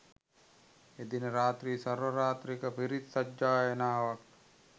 එදින රාත්‍රී සර්වරාත්‍රික පිරිත් සජ්ඣායනාවක්